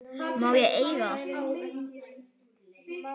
Má ég eiga það?